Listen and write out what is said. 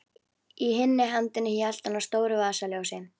Í hinni hendinni hélt hann á stóru vasaljósi.